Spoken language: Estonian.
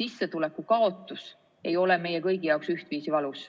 sissetuleku kaotus ei ole meie kõigi jaoks ühtviisi valus.